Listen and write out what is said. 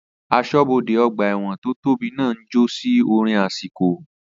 Asọ́bodè ọgbà ẹ̀wọ̀n tó tóbi náà ń jó sí orin àsìkò